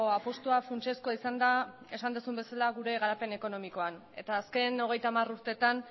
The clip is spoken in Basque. apustua funtsezkoa izan da esan duzun bezala gure garapen ekonomikoan eta azken hogeita hamar urteetan